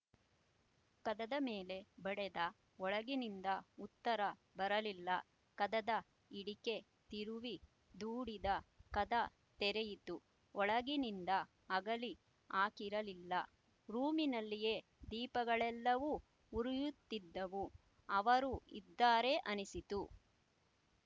ಕದದ ಮೇಲೆ ಬಡೆದ ಒಳಗಿನಿಂದ ಉತ್ತರ ಬರಲಿಲ್ಲ ಕದದ ಹಿಡಿಕೆ ತಿರುವಿ ದೂಡಿದ ಕದ ತೆರೆಯಿತು ಒಳಗಿನಿಂದ ಅಗಳಿ ಹಾಕಿರಲಿಲ್ಲ ರೂಮಿನಲ್ಲಿಯೆ ದೀಪಗಳೆಲ್ಲವೂ ಉರಿಯುತ್ತಿದ್ದವು ಅವರು ಇದ್ದಾರೆ ಅನಿಸಿತು